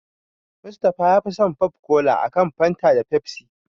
Musa yafi son popcola a kan Fanta da Pepsi.